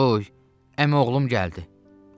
Buy, əmioğlun gəldi.